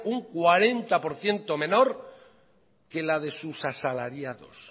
un cuarenta por ciento menor que la de sus asalariados